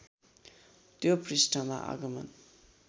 त्यो पृष्ठमा आगमन